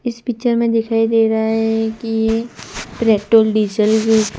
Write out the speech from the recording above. इस पिक्चर में दिखाई दे रहा है कि पेट्रोल डीजल --